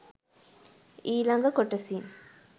ඊලඟ කොටසින්.